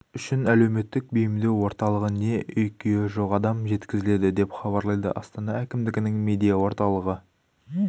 үшін әлеуметтік бейімдеу орталығы не үй-күйі жоқ адам жеткізілді деп хабарлайды астана әкімдігінің медиа орталығы